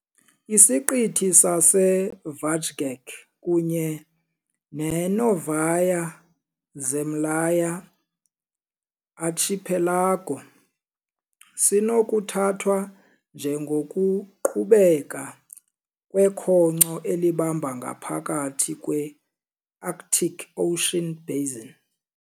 Isiqithi saseVajgač kunye ne- Novaya Zemlya archipelago sinokuthathwa njengokuqhubeka kwekhonkco elihamba ngaphakathi kwe-Arctic Ocean basin.